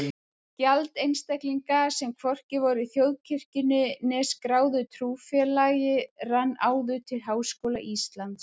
Gjald einstaklinga, sem hvorki voru í þjóðkirkjunni né skráðu trúfélagi rann áður til Háskóla Íslands.